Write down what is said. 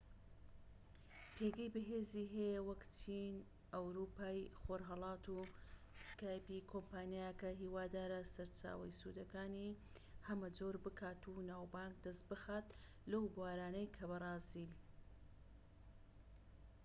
کۆمپانیاکە هیوادارە سەرچاوەی سوودەکانی هەمە جۆر بکات و ناوبانگ دەست بخات لەو بوارانەی کە skype پێگەی بەهێزی هەیە وەک چین ئەوروپای خۆرهەڵات و بەرازیل